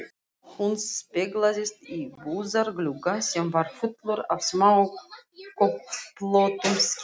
Hún speglaðist í búðarglugga sem var fullur af smáköflóttum skyrtum.